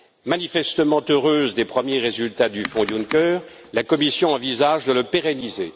Manifestement heureuse des premiers résultats du fonds Juncker, la Commission envisage de le pérenniser.